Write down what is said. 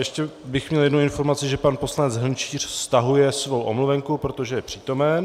Ještě bych měl jednu informaci, že pan poslanec Hrnčíř stahuje svou omluvenku, protože je přítomen.